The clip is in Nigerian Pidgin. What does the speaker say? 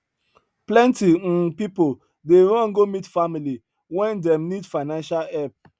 plenty um people dey run go meet family when dem need financial help